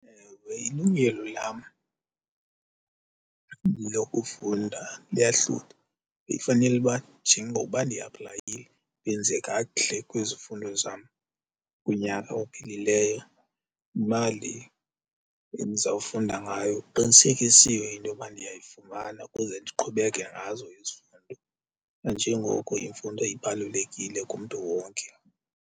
Ewe, ilungelo lam lokufunda luyahlutha bekufanele uba njengokuba ndiaplayile ndenze kakuhle kwizifundo zam kunyaka ophelileyo, imali endizawufunda ngayo kuqinisekisiwe into yoba ndiyayifumana ukuze ndiqhubeke ngazo izifundo, nanjengoko imfundo ibalulekile kumntu wonke.